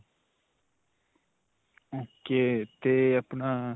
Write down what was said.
ok. 'ਤੇ ਆਪਣਾ.